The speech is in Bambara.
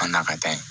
An na ka taa yen